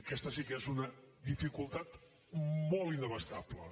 aquesta sí que és una dificultat molt inabastable